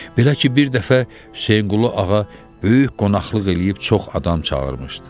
Belə ki, bir dəfə Hüseynquluğa böyük qonaqlıq eləyib çox adam çağırmışdı.